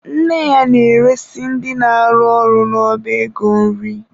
Nne ya na-eresị ndị na-arụ ọrụ n'ọba ego nri.